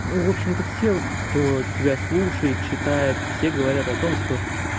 в общем-то все кто тебя слушает читает все говорят о том что